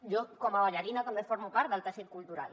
jo com a ballarina també formo part del teixit cultural